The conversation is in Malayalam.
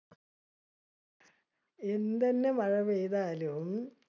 എന്തെന്നെമഴ പെയ്താലും